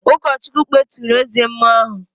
Ụkọchukwu kpeturu eze mmụọ ahụ